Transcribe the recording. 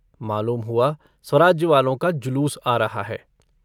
मालूम हुआ स्वराज्य वालों का जुलूस आ रहा है।